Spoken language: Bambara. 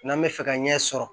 N'an bɛ fɛ ka ɲɛ sɔrɔ